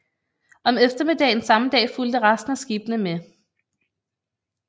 Om eftermiddagen samme dag fulgte resten af skibene med